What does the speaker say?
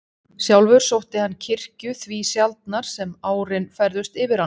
Sjálfur sótti hann kirkju því sjaldnar sem árin færðust yfir hann.